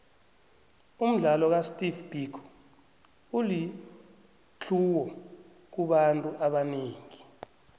umdlalo ka steve biko ulitlhuwo kubantu abanengi